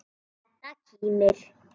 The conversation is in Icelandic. Edda kímir.